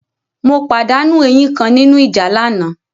Mo pàdánù eyín kan nínú ìjà lánàá.